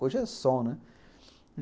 Hoje é som, né?